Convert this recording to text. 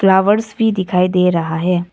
Flowers भी दिखाई दे रहा है।